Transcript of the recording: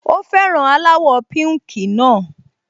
Ó fẹ́ràn aláwọ̀ píùnkì náà